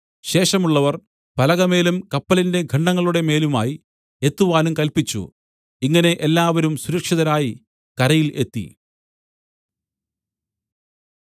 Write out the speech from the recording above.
ശേഷമുള്ളവർ പലകമേലും കപ്പലിന്റെ ഖണ്ഡങ്ങളുടെ മേലുമായി എത്തുവാനും കല്പിച്ചു ഇങ്ങനെ എല്ലാവരും സുരക്ഷിതരായി കരയിൽ എത്തി